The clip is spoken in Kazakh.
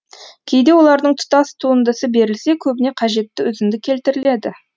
кейде олардың тұтас туындысы берілсе көбіне қажетті үзінді келтіріледі